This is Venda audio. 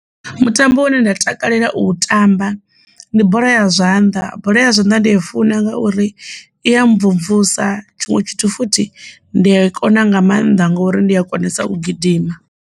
Mutambo une nda takalela u tamba ndi bola ya zwanḓa, bola ya zwanḓa ndi i funa ngauri i ya mvumvusa tshiṅwe tshithu futhi ndi a kona nga maanḓa ngori ndi a konesa u gidima.